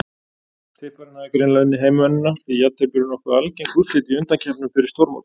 Tipparinn hafði greinilega unnið heimavinnuna því jafntefli eru nokkuð algeng úrslit í undankeppnum fyrir stórmót.